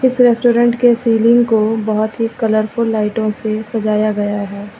इस रेस्टोरेंट के सीलिंग को बहुत ही कलरफुल लाइटों से सजाया गया है।